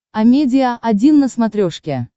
амедиа один на смотрешке